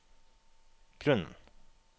grunnen